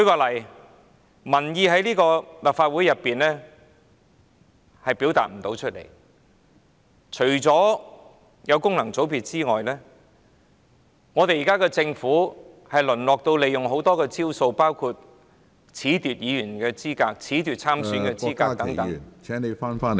立法會未能表達民意，除了有功能界別議員外，政府現在還會採用很多招數，包括褫奪議員資格、褫奪參選者資格等......